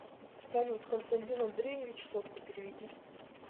салют константин андреевич сотку переведи